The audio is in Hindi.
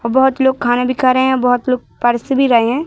और बहुत लोग खाना भी खा रहे हैं बहुत लोग परोस भी रहे हैं।